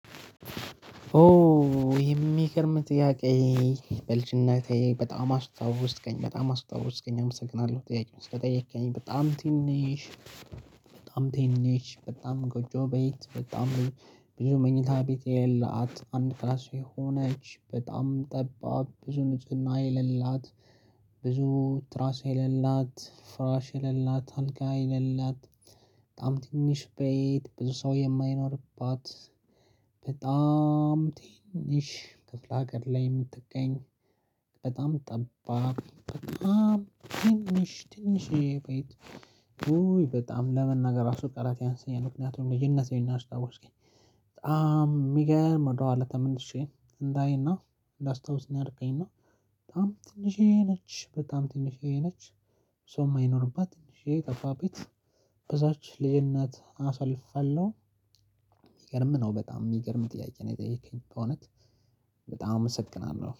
ኦ የሚገርም ጥያቄ። በልጅነቴ በጣም አስታወስከኝ በጣም አስታወስከኝ አመሰግናለሁ ጥያቄውን ስለጠየከኝ በጣም ትንሽ። በጣም ትንሽ በጣም ጎጆ ቤት በጣም ብዙ መኝታ ቤት የሌላት አንድ ክላስ የሆነች በጣም ጠባብ ብዙ ንፁህና የሌላት። ብዙ ትራስ የሌላት ፍራሽ የሌላት አልጋ የሌላት በጣም ትንሽ ቤት ብዙ ሰው የማይኖርባት። በጣም ትንሽ ክፍለ ሀገር ላይ የምትገኝ በጣም ጠባብ በጣም ትንሽ ትንሽዬ ቤት። ኡ በጣም ለመናገር ራሱ ቃላት ያንሰኛል ምክንያቱም ልጅነቴን ነው ያስታወስከኝ። በጣም የሚገርም ወደኋላ ተመልሼ እንዳይና እንዳስታውስ ነው። እና። በጣም ትንሽዬ ነች በጣም ትንሽዬ ነች። ሰው የማይኖርባት ትንሽዬ ጠባብ ቤት። በዛች ልዩነት አሳልፊያለሁ። የሚገርም ነው በጣም የሚገርም ጥያቄ ነው የጠየከኝ በእውነት በጣም አመሰግናለሁ